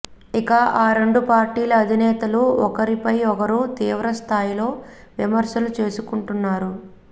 ఇక ఆ రెండు పార్టీల అధినేతలు ఒకరి పై ఒకరు తీవ్ర స్థాయిలో విమర్శలు చేసుకుంటున్నారు